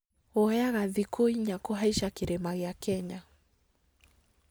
Woyaga thikũ inya kũhaica kĩrĩma gĩa Kenya